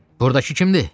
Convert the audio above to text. Burdakı kimdir?